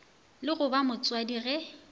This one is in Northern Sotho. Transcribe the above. le go ba motswadi ge